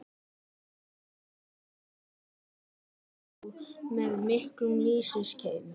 Þar er mjólkinni lýst sem afar feitri og með miklum lýsiskeim.